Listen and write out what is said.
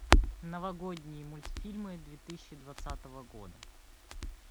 новогодние мультфильмы две тысячи двадцатого года